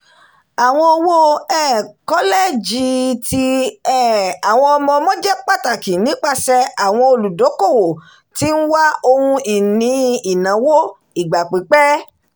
àwọn owó um kọlẹ́jì ti um àwọn ọmọ-ọmọ jẹ pàtàkì nipasẹ àwọn olùdókòwò tí ń wá ohun-ini ináwó ìgbà pípẹ́